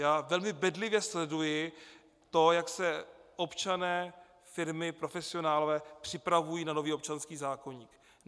Já velmi bedlivě sleduji to, jak se občané, firmy, profesionálové připravují na nový občanský zákoník.